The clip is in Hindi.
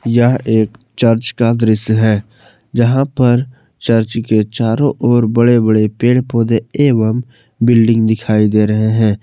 यह एक चर्च का दृश्य है जहां पर चर्च के चारों और बड़े बड़े पेड़ पौधे एवं बिल्डिंग दिखाई दे रहे हैं।